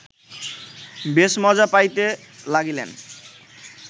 বেশ মজা পাইতে লাগিলেন